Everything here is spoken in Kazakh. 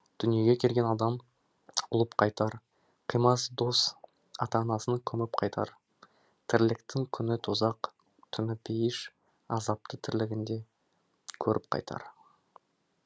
дүниеге келген адам ұлып қайтар қимас дос ата анасын көміп қайтар тірліктің күні тозақ түні пейіш азапты тірлігінде көріп қайтар